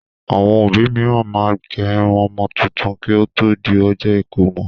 Àwọn òbí mìíràn máa ń gé irun ọmọ tuntun kí ó tó di ọjọ́ ìkómọ